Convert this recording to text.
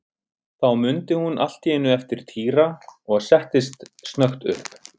Þá mundi hún allt í einu eftir Týra og settist snöggt upp.